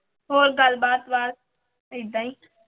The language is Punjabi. ਹੋਰ ਗੱਲਬਾਤ ਬਸ ਏਦਾਂ ਹੀ।